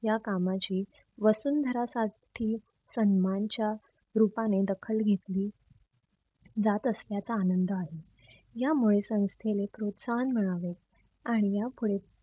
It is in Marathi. या कामाची वसुंधरासाठी सन्मानच्या रूपाने दखल घेतली जात असल्याचा आनंद आहे. यामुळे संस्थेने प्रोत्साहन मिळवले आणि या पुढे